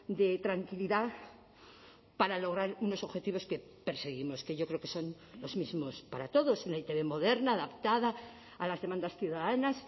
de tranquilidad para lograr unos objetivos que perseguimos que yo creo que son los mismos para todos una e i te be moderna adaptada a las demandas ciudadanas